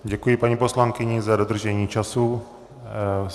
Děkuji paní poslankyni za dodržení času.